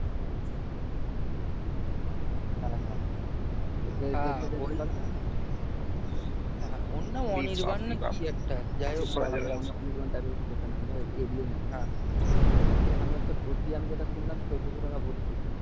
হ্যাঁ এখানে যেটা ভর্তি আমি শুনলাম সেটা চোদ্দশো টাকা